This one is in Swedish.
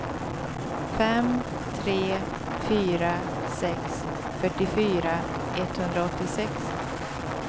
fem tre fyra sex fyrtiofyra etthundraåttiosex